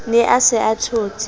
ne a se a thotse